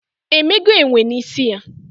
Emego enwe na isi ya?